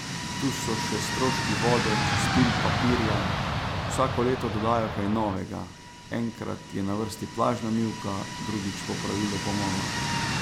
Tu so še stroški vode, čistil, papirja, vsako leto dodajo kaj novega, enkrat je na vrsti plažna mivka, drugič popravilo pomola.